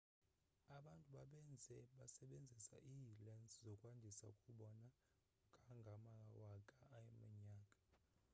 abantu bebenza besebenzisa ii-lense zokwandisa ukubona kangangamawaka a eminyaka